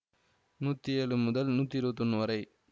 நூற்றி ஏழு முதல் நூற்றி இருபத்தி ஒன்னு வரை